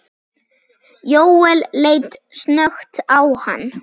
Jóel leit snöggt á hann.